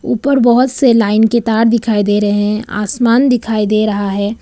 ऊपर बहुत से लाइन के तार दिखाई दे रहे हैं आसमान दिखाई दे रहा है।